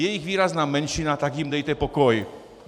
Je jich výrazná menšina, tak jim dejte pokoj!